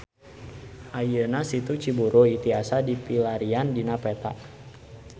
Ayeuna Situ Ciburuy tiasa dipilarian dina peta